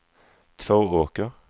Tvååker